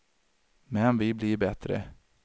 Men vi blir bättre!